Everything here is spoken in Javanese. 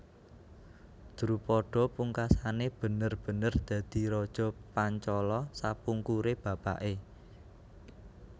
Drupada pungkasané bener bener dadi raja Pancala sapungkuré bapaké